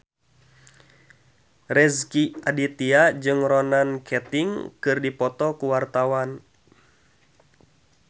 Rezky Aditya jeung Ronan Keating keur dipoto ku wartawan